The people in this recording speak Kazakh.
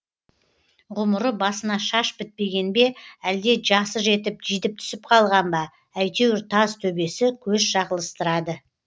ғұмыры басына шаш бітпеген бе әлде жасы жетіп жидіп түсіп қалған ба әйтеуір таз төбесі көз шағылыстырады